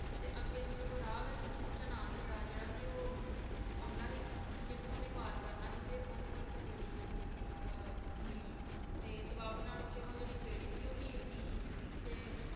ਤੇ ਅੱਗੇ ਮਤਲਬ ਉਹ ਰਾਹ ਵਿਚ ਓਹਨੂੰ ਜਿਹੜਾ ਚਨਾਹ ਦਰਿਆ ਜਿਹੜਾ ਸੀ ਉਹ ਆਉਂਦਾ ਸੀ ਜਿਹਨੂੰ ਓਹਨੇ ਪਾਰ ਕਰਨਾ ਸੀ ਤੇ ਓਹਨੂੰ ਇੱਕ ਬੇੜੀ ਜਿਹੜੀ ਸੀ ਉਹ ਮਿਲੀ ਤੇ ਸੁਭਾਗ ਨਾਲ ਉਹ ਜਿਹੜੀ ਬੇੜੀ ਸੀ ਉਹ ਹੀਰ ਦੀ ਸੀ ਤੇ